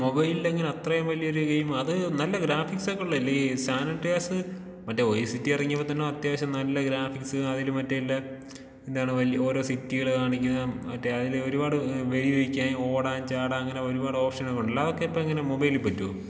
മൊബൈലിലെങ്ങനാ അത്രയും വലിയൊരു ഗെയിം? അത് നല്ല ഗ്രാഫിക്സൊക്കെ ഉള്ളതല്ലേ ഈ സാൻ ആൻഡ്രിയാസ് മറ്റേ വൈ സിറ്റി എറങ്ങിയപ്പൊ തന്നേ അത്യാവശ്യം നല്ല ഗ്രാഫിക്സ് അതില് മറ്റേ ഉള്ള എന്താണ് ഓരോ സിറ്റികള് കാണിക്കുന്ന മറ്റേ അതില് ഒരുപാട് ഏഹ് വെടി വെക്കാൻ, ഓടാൻ, ചാടാൻ അങ്ങനെ ഒരുപാട് ഓപ്ഷനൊക്കെ ഉണ്ടല്ലോ അതൊക്കെ ഇപ്പൊ എങ്ങനെ മൊബൈലില് പറ്റോ?